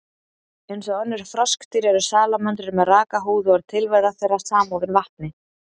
Eins og önnur froskdýr, eru salamöndrur með raka húð og er tilvera þeirra samofin vatni.